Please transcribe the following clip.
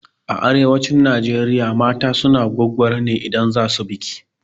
A arewacin Najeriya mata suna gwaggwaro ne idan za su biki.